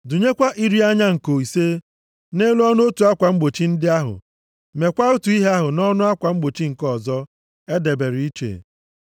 Dụnyekwa iri anya nko ise nʼelu ọnụ otu akwa mgbochi ndị ahụ. Meekwa otu ihe ahụ nʼọnụ akwa mgbochi nke ọzọ e debere iche.